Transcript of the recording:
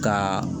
Ka